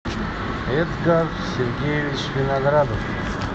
эдгар сергеевич виноградов